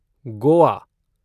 Goa